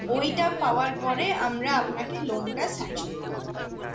ওইটা পাওয়ার পরে আমরা আপনাকে loan টা sanction করতে পারব